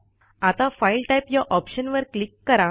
आता file type या ऑप्शनवर क्लिक करा